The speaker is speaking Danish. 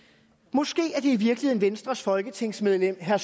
måske er det i virkeligheden venstres folketingsmedlem herre